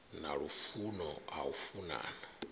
na lufuno ha u funana